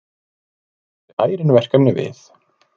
Þar blasi ærin verkefni við.